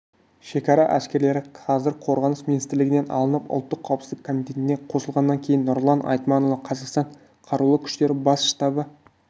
шекара әскерлері қазір қорғаныс министрлігінен алынып ұлттық қауіпсіздік комитетіне қосылғаннан кейін нұрлан айтманұлы қазақстан қарулы күштері бас штабы